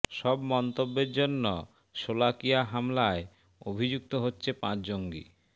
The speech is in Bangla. সব মন্তব্যের জন্য শোলাকিয়া হামলায় অভিযুক্ত হচ্ছে পাঁচ জঙ্গি